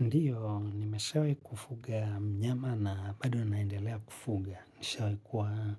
Ndiyo, nimeshawai kufuga mnyama na bado naendelea kufuga. Nishawai kuwa